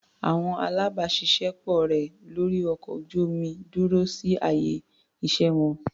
Àwọn alábàáṣiṣé pọ̀ rẹ̀ lórí ọkọ̀ ojú-omi dúró sí àyè iṣẹ́ wọn.